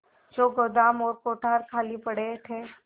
जो गोदाम और कोठार खाली पड़े थे